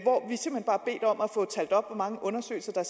få talt op hvor mange undersøgelser der